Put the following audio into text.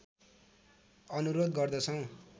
अनुरोध गर्दछौँ